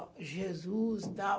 Ó, Jesus e tal.